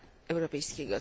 europejskiego.